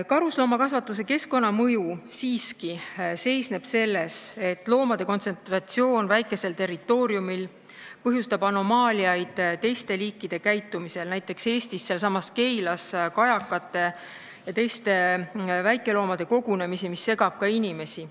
Karusloomakasvatuse keskkonnamõju seisneb siiski selles, et loomade kontsentratsioon väikesel territooriumil põhjustab anomaaliaid teiste liikide käitumises, Näiteks Eestis, sealsamas Keilas, kogunevad kajakad ja väikeloomad, mis segab ka inimesi.